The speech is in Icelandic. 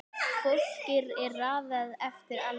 Fólki er raðað eftir aldri